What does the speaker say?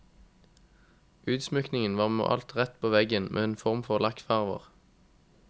Utsmykningen var malt rett på veggen med en form for lakkfarver.